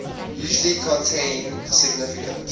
usually contain significant